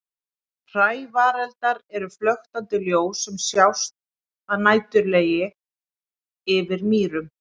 Hrævareldar eru flöktandi ljós sem sjást að næturlagi yfir mýrum.